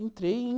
Entrei em